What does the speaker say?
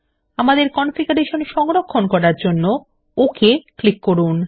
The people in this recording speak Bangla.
আপনার কনফিগারেশন সংরক্ষণ করার জন্য ওক ক্লিক করুন